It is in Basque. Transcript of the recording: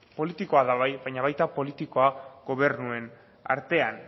politikoa da bai baina baita politikoa gobernuen artean